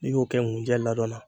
N'i y'o kɛ ŋunjɛ ladɔn na